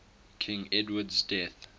king edward's death